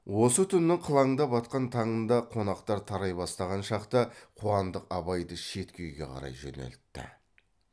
осы түннің қылаңдап атқан таңында қонақтар тарай бастаған шақта қуандық абайды шеткі үйге қарай жөнелтті